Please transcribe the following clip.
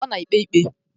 Ọ na-ekpe ikpe